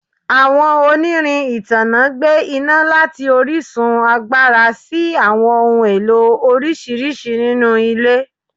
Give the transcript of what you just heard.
Awọn onirin itanna gbe ina lati orisun agbara si awọn ohun elo oriṣiriṣi ninu ile